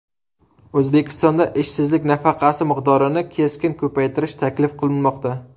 O‘zbekistonda ishsizlik nafaqasi miqdorini keskin ko‘paytirish taklif qilinmoqda.